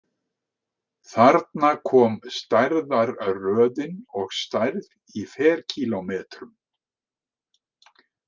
Þarna kom stærðarröðin og stærð í ferkílómetrum.